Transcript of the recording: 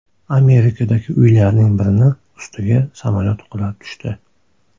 Amerikadagi uylarning birini ustiga samolyot qulab tushdi.